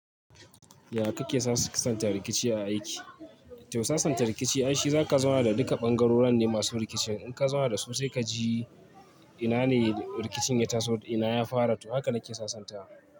Yaya kake sasanta rikici a aiki? To sasanta rikici ai shi, zaka zauna da duka bangarorin ne masu rikicin. In ka zauna da su sai ka ji ina ne rikicin ya taso, ina ya fara to haka nake sasanta.